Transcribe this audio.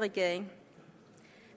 regering